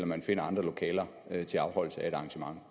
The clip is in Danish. man finder andre lokaler til afholdelse af et arrangement